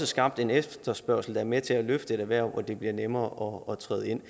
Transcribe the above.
skabt en efterspørgsel der er med til at løfte et erhverv så det bliver nemmere at træde ind